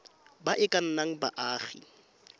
ba e ka nnang baagi